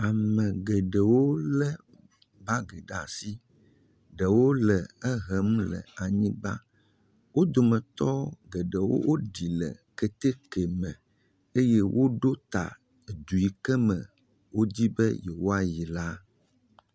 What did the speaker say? Ame geɖewo lé bagi ɖa si, ɖewo le ehem le anyigba, wo dometɔ geɖewo woɖi le keteke me eye woɖo ta edu yi ke me wodi be yewoayi la.